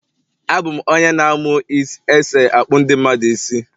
Abụ m onye n amu is else akpu ndi mmadu isi